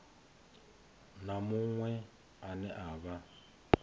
na muṅwe ane a vha